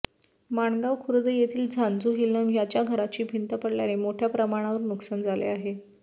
माणगाव खुर्द येथील झांझू हिलम यांच्या घराची भिंत पडल्याने मोठ्या प्रमाणावर नुकसान झाले आहे